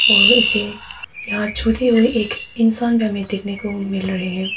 और इसे यहां छुते हुए एक इंसान भी हमे देखने को मिल रहे हैं।